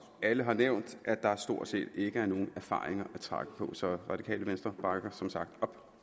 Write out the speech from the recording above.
alle har nævnt at der stort set ikke er nogen erfaringer at trække på så det radikale venstre bakker som sagt